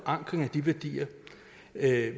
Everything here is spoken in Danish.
at